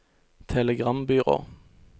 telegrambyrå